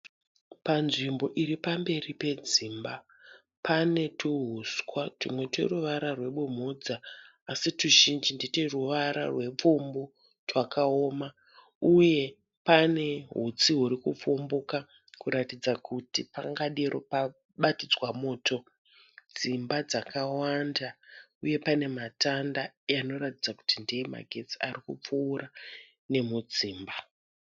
Panzvimbo iripamberi padzimba pane tuhuswa tumwe tweruva rwebumhudza asi tuzhinji ndetweruvara rwepfumbu twakaoma. Uye pane hutsi hurikupfumbuka kuratidza kuti pangadero pabatidzwa moto. Dzimba dzakawanda uye panematanda anoratidza kuti ndeemagetsi arikupfuura nemudzimba.